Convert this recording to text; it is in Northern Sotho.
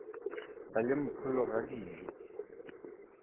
ba le mpholo ga dijo